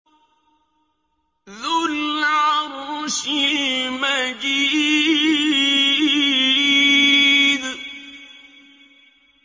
ذُو الْعَرْشِ الْمَجِيدُ